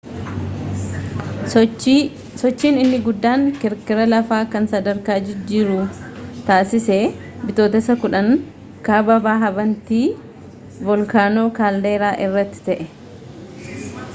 sochiin inni guddaan kirkira lafaa kan sadarkaa jijjiiruu taasise bitooteessa 10 kaaba bahaa bantii volkaanoo kaalderaa irratti ta'e